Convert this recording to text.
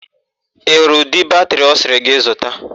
Ị hụrụ udị batịrị ọ sịrị gị zuta?